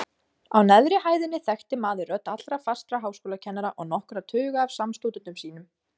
Á neðri hæðinni þekkti maður rödd allra fastra háskólakennara og nokkurra tuga af samstúdentum sínum.